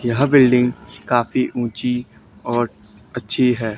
यह बिल्डिंग काफी ऊंची और अच्छी है।